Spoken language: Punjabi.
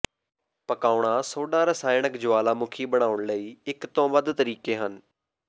ਪਕਾਉਣਾ ਸੋਡਾ ਰਸਾਇਣਕ ਜੁਆਲਾਮੁਖੀ ਬਣਾਉਣ ਲਈ ਇਕ ਤੋਂ ਵੱਧ ਤਰੀਕੇ ਹਨ